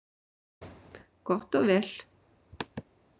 Gott og vel